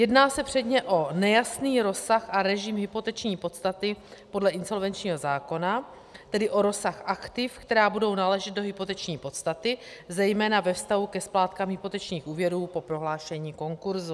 Jedná se předně o nejasný rozsah a režim hypoteční podstaty podle insolvenčního zákona, tedy o rozsah aktiv, která budou náležet do hypoteční podstaty, zejména ve vztahu ke splátkám hypotečních úvěrů po prohlášení konkurzu.